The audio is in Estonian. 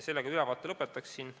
Sellega ma ülevaate lõpetan.